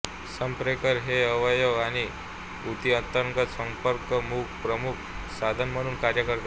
संप्रेरक हे अवयव आणि उती अंतर्गत संपर्क प्रमुख साधन म्हणून कार्य करते